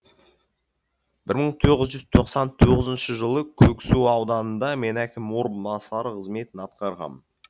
бір мың тоғыз жүз тоқсан тоғызыншы жылы көксу ауданында мен әкім орынбасары қызметін атқарғам